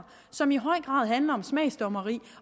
som i høj grad handler om smagsdommeri